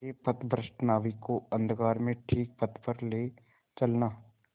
मेरे पथभ्रष्ट नाविक को अंधकार में ठीक पथ पर ले चलना